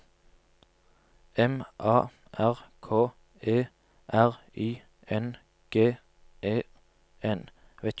M A R K E R I N G E N